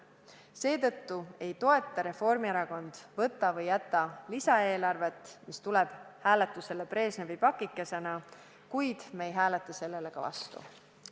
Seetõttu ei toeta Reformierakond seda võta-või-jäta-lisaeelarvet, mis tuleb hääletusele Brežnevi pakikesena, kuid me ei hääleta sellele ka vastu.